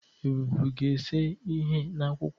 Ebube ga-ese ihe n'akwụkwọ a.